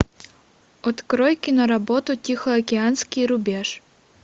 открой киноработу тихоокеанский рубеж